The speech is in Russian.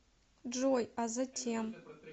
джой а затем